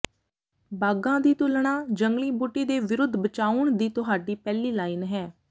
ਬਾਗਾਂ ਦੀ ਤੁਲਣਾ ਜੰਗਲੀ ਬੂਟੀ ਦੇ ਵਿਰੁੱਧ ਬਚਾਉਣ ਦੀ ਤੁਹਾਡੀ ਪਹਿਲੀ ਲਾਈਨ ਹੈ